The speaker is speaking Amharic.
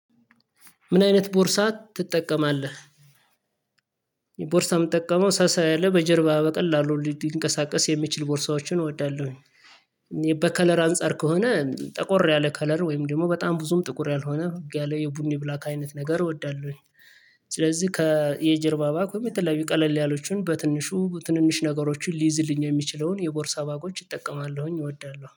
ምን አይነት ቦርሳ ትጠቀማለህ? ቦርሳ ምጠቀመው ሳሳ ያለ በጀርባ በቀላሉ ሊድንቀሳቀስ የሚችል ቦርሳዎችን እወዳለሁኝ። በከለር አንፃር ከሆነ ጠቆር ያለ ከለር ወይም ደግሞ በጣም ብዙም ጥቁር ያልሆነ ቦግ ያለ የቡኒ ብላክ አይነት ነገር እወዳለሁኝ ስለዚህ ከየጀርባ ባግ ወይም የተለያዩ ቀለል ያሎቹን በትንሹ ትንንሽ ነገሮችን ሊይዝልኝ የሚችለውን የቦርሳ ባጎች እጠቀማለሁኝ እወዳለሁ